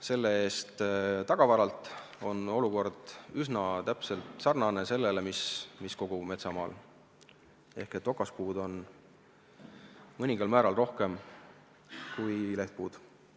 See-eest tagavaralt on olukord üsna sarnane sellega, mis kogu metsamaal, ehk okaspuid on mõningal määral rohkem kui lehtpuid.